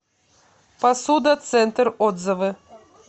посуда центр отзывы